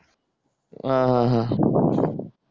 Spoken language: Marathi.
अह आह